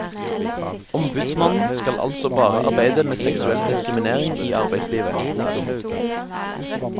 Ombudsmannen skal altså bare arbeide med seksuell diskriminering i arbeidslivet. punktum